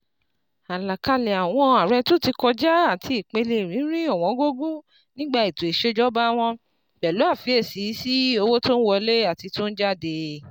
Àlàkalẹ̀ àwọn Àrẹ tó ti kọjá àti ìpele ìrírí ọ̀wọ́n gógó nígbà ètò ìṣèjọba wọn, pẹ̀lú àfiyèsí sí owó tó ń wọlé àti tó ń jáde.